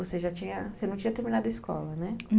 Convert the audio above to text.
Você já tinha, você não tinha terminado a escola, né?